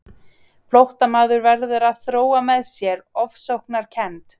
Flóttamaður verður að þróa með sér ofsóknarkennd.